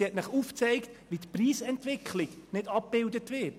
Sie hat aufgezeigt, dass die Preisentwicklung nicht abgebildet wird.